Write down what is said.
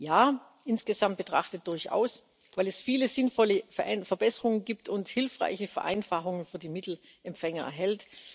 Ja, insgesamt betrachtet durchaus, weil es viele sinnvolle Verbesserungen gibt und hilfreiche Vereinfachungen für die Mittelempfänger enthält.